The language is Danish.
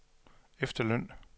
efterløn